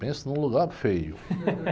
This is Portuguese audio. Pensa num lugar feio.